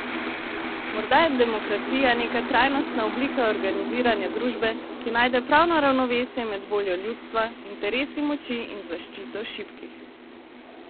Morda je demokracija neka trajnostna oblika organiziranja družbe, ki najde pravo ravnovesje med voljo ljudstva, interesi moči in zaščito šibkih.